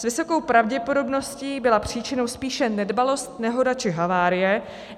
S vysokou pravděpodobností byla příčinou spíše nedbalost, nehoda či havárie.